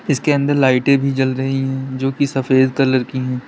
इसके अंदर लाइटें भी जल रही है जो की सफेद कलर की है।